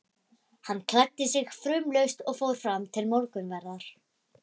Hann klæddi sig fumlaust og fór fram til morgunverðar.